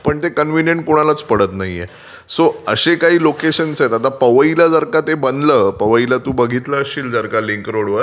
पण ते कन्व्हिनियंट कोणालाच पडत नाहीये. सो असे काही लोकेशन्स आहेत आता पवईला जर का ते बनलं पवईला जर का तू बघितलं असशील लिंक रोडवर.